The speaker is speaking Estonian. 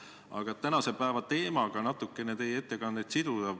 Aga et teie ettekannet tänase teemaga natukene rohkem siduda, ma küsin sellist asja.